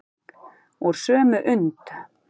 Úr sömu und.